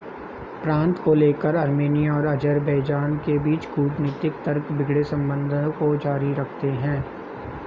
प्रांत को लेकर आर्मेनिया और अज़रबैजान के बीच कूटनीतिक तर्क बिगड़े संबंधों को जारी रखते हैं